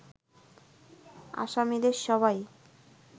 আসামিদের সবাই